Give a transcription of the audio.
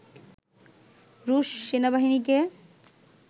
রুশ সেনাবাহিনীকে